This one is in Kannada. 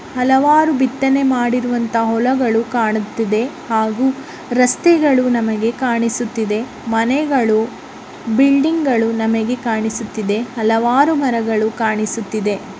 ಹಲವಾರು ಬಿತ್ತನೆ ಮಾಡಿರುವಂತಹ ಹೊಲಗಳು ಕಾಣುತ್ತಿದೆ ಹಾಗೂ ರಸ್ತೆಗಳು ನಮಗೆ ಕಾಣಿಸುತ್ತಿದೆ. ಮನೆಗಳು ಬಿಲ್ಡಿಂಗಗಳು ನಮಗೆ ಕಾಣಿಸುತ್ತಿದೆ. ಹಲವಾರು ಮರಗಳು ಕಾಣಿಸುತ್ತಿದೆ.